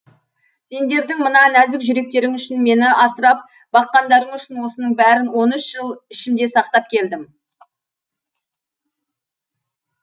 сендердің мына нәзік жүректерің үшін мені асырап баққандарың үшін осының бәрін он үш жыл ішімде сақтап келдім